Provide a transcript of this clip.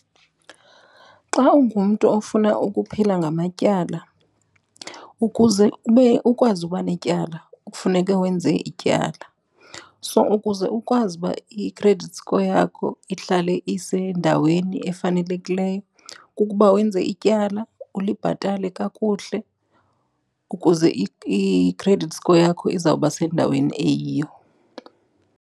Xa ungumntu ofuna ukuphila ngamatyala, ukuze ube ukwazi uba netyala kufuneke wenze ityala. So, ukuze ukwazi uba i-credit score yakho ihlale isendaweni efanelekileyo kukuba wenze ityala, ulibhatale kakuhle ukuze i-credit score yakho izawuba sendaweni eyiyo.